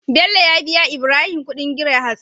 Bello ya biya Ibrahim Ƙudin gire hatsi